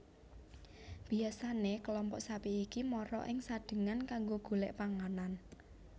Biyasane kelompok sapi iki mara ing Sadengan kanggo golek panganan